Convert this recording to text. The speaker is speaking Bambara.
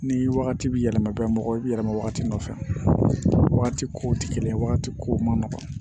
Ni wagati bi yɛlɛma ka kɛ mɔgɔ yɛlɛma wagati nɔfɛ wagati kow ti kelen ye wagati kow man nɔgɔn